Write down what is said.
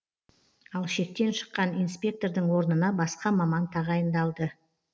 ал шектен шыққан инспектордың орнына басқа маман тағайындалды